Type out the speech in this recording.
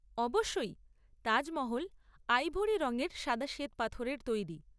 অবশ্যই। তাজ মহল আইভরি রঙের সাদা শ্বেতপাথরের তৈরি।